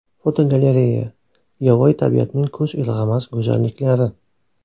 Fotogalereya: Yovvoyi tabiatning ko‘z ilg‘amas go‘zalliklari.